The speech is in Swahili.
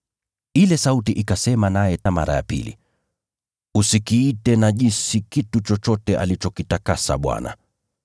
Ile sauti ikasema naye mara ya pili, “Usikiite najisi kitu chochote Mungu alichokitakasa.”